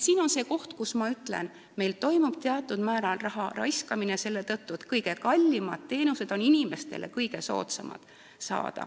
Siin on see koht, kus minu arvates toimub meil teatud määral raha raiskamine selle tõttu, et kõige kallimad teenused on inimestele kõige soodsamad.